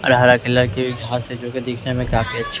और हरा कलर की घास है जो कि दिखने में काफी अच्छी--